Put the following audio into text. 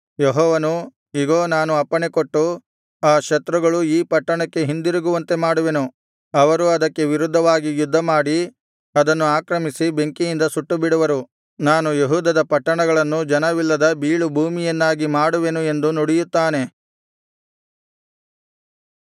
ಯೆಹೋವನು ಇಗೋ ನಾನು ಅಪ್ಪಣೆಕೊಟ್ಟು ಆ ಶತ್ರುಗಳು ಈ ಪಟ್ಟಣಕ್ಕೆ ಹಿಂದಿರುಗುವಂತೆ ಮಾಡುವೆನು ಅವರು ಅದಕ್ಕೆ ವಿರುದ್ಧವಾಗಿ ಯುದ್ಧಮಾಡಿ ಅದನ್ನು ಆಕ್ರಮಿಸಿ ಬೆಂಕಿಯಿಂದ ಸುಟ್ಟುಬಿಡುವರು ನಾನು ಯೆಹೂದದ ಪಟ್ಟಣಗಳನ್ನು ಜನವಿಲ್ಲದ ಬೀಳುಭೂಮಿಯನ್ನಾಗಿ ಮಾಡುವೆನು ಎಂದು ನುಡಿಯುತ್ತಾನೆ